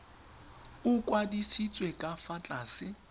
o kwadisitswe ka fa tlase